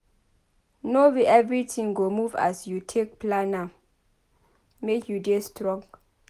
No be everytin go move as you take plan am make you dey strong.